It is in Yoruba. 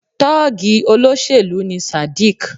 Tọ́ọ̀gì olóṣèlú ni Sadiq.